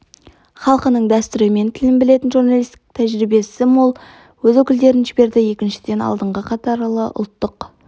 халқының дәстүрі мен тілін білетін журналистік тәжірибесі мол өз өкілдерін жіберді екіншіден алдыңғы қатарлы ұлттық